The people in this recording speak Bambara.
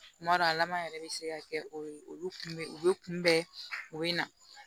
Kuma dɔ lama yɛrɛ bɛ se ka kɛ o ye olu kun bɛ u bɛ kunbɛn u bɛ na